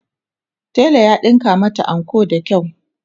tela ya ɗinka mata anko da kyau.